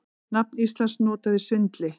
Nafn Íslands notað í svindli